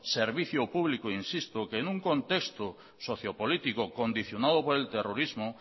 servicio público insisto que en un contexto socio político condicionado por el terrorismo